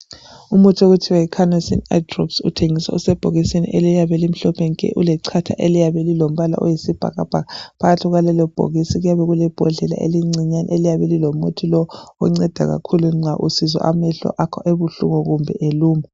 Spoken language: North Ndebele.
Umuthi okuthiwa yi canosine eye drops uthengiswa usebhokisini eliyabe limhlophe nke ulechatha eliyabe lilombala oyisibhakabhaka . Phakathi kwalelobhokisi kuyabe kulembodlela encinyane eliyabe lilomuthi lo onceda kakhulu nxa usizwa amehlo akho ebuhlungu kakhulu kumbe eluma.